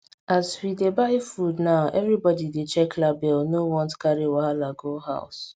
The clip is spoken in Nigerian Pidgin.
as we dey buy food now everybody dey check label no want carry wahala go house